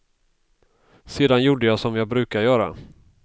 Sedan gjorde jag som jag brukar göra.